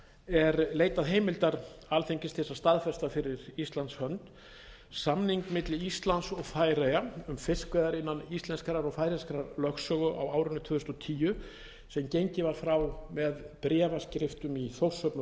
er leitað heimildar alþingis til þess að staðfesta fyrir íslands hönd samning milli íslands og færeyja um fiskveiðar innan íslenskrar og færeyskrar lögsögu á árinu tvö þúsund og tíu sem gengið var frá með bréfaskriftum í þórshöfn og